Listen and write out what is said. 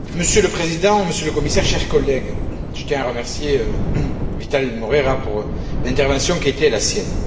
Monsieur le Président, Monsieur le Commissaire, chers collègues, je tiens à remercier Vital Moreira pour l'intervention qui a été la sienne.